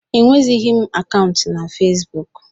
Enwezịghị m akaụntụ na Fesbuk.